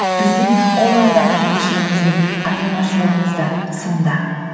біздің олардан артықшылығымыз бен айырмашылығымыз да сонда